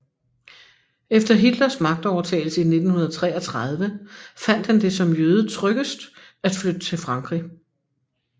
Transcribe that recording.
Efter Hitlers magtovertagelse i 1933 fandt han det som jøde tryggest at flytte til Frankrig